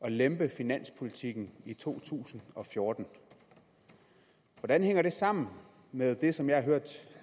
at lempe finanspolitikken i to tusind og fjorten hvordan hænger det sammen med det som jeg har hørt